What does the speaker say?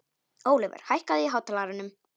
Ólíver, hækkaðu í hátalaranum.